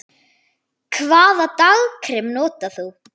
Hvaða dagkrem notar þú?